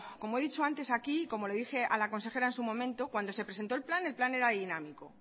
como he dicho antes aquí como le dije a la consejera en su momento cuando se presento el plan el plan era dinámico